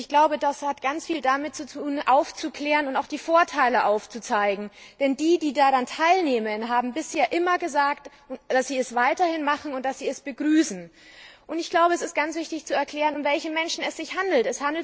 Ich glaube, das hat ganz viel damit tun, aufzuklären und auch die Vorteile aufzuzeigen, denn diejenigen, die daran teilnehmen, haben bisher immer gesagt, dass sie es weiterhin machen und dass sie es begrüßen. Es ist ganz wichtig zu erklären, um welche Menschen es sich handelt.